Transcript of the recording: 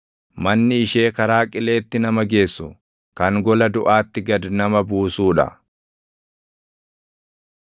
Manni ishee karaa qileetti nama geessu, kan gola duʼaatti gad nama buusuu dha.